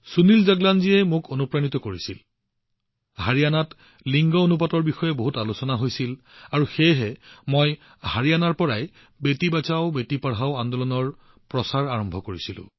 সুনীল জগলানজীয়ে মোৰ মনত বিশেষ প্ৰভাৱ পেলাইছে কাৰণ হাৰিয়ানাত লিংগ অনুপাতৰ ওপৰত যথেষ্ট আলোচনা হৈছিল আৰু মই হাৰিয়ানাৰ পৰাই বেটি বচাওবেটি পঢ়াওৰ প্ৰচাৰ আৰম্ভ কৰিছিলো